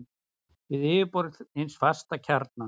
við yfirborð hins fasta kjarna.